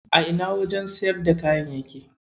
A ina wajen siyarda kayan yake?